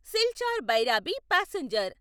Silchar Bhairabi passenger